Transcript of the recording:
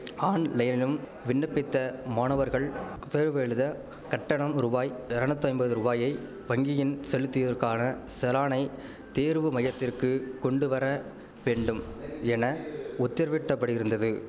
ஆன்லைனினும் விண்ணப்பித்த மாணவர்கள் தேர்வு எழுத கட்டணம் ரூபாய் எரநூத்தைம்பது ரூவாயை வங்கியின் செலுத்தியற்கான செலானை தேர்வுமையத்திற்கு கொண்டுவர வேண்டும் என உத்தர்விட்டப்படிருந்தது